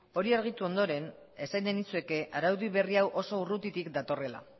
hori argitu ondoren esan nahi nizueke araudi berri hau oso urrutitik datorrela